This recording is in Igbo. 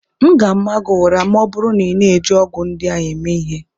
M ga ama gị ụra ma ọ bụrụ na ị na-eji ọgwụ ndị ahụ eme ihe!